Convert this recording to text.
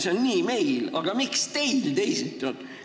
See on meil nii, aga miks teil teisiti on?